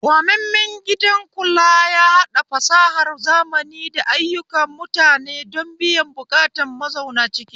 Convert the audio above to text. Gwamammen gidan kula yahaɗa fasahar zamani da ayyuka mutane don biyan buƙatun mazauna ciki